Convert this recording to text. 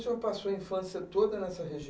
O senhor passou a infância toda nessa